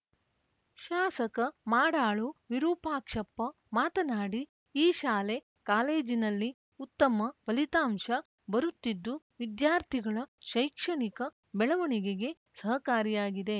ಶಾಸಕ ಮಾಡಾಳು ವಿರೂಪಾಕ್ಷಪ್ಪ ಮಾತನಾಡಿ ಈ ಶಾಲೆ ಕಾಲೇಜಿನಲ್ಲಿ ಉತ್ತಮ ಫಲಿತಾಂಶ ಬರುತ್ತಿದ್ದು ವಿದ್ಯಾರ್ಥಿಗಳ ಶೈಕ್ಷಣಿಕ ಬೆಳವಣಿಗೆಗೆ ಸಹಕಾರಿಯಾಗಿದೆ